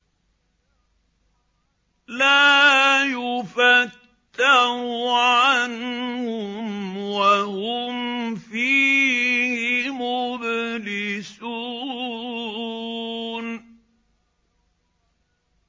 لَا يُفَتَّرُ عَنْهُمْ وَهُمْ فِيهِ مُبْلِسُونَ